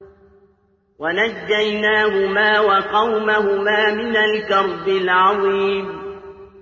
وَنَجَّيْنَاهُمَا وَقَوْمَهُمَا مِنَ الْكَرْبِ الْعَظِيمِ